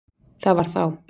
Það var þá